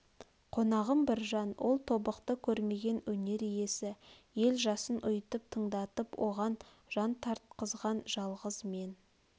қонағым біржан ол тобықты көрмеген өнер иесі ел жасын ұйытып тыңдатып оған жан тартқызған жалғыз мен